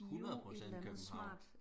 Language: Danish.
100 procent københavn